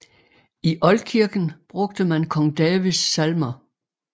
I oldkirken brugte man Kong Davids salmer